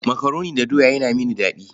Makaroni da doya yana mini daɗi.